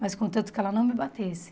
Mas contanto que ela não me batesse.